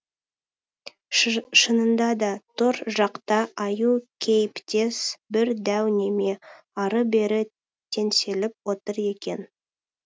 шынында да тор жақта аю кейіптес бір дәу неме ары бері теңселіп отыр екен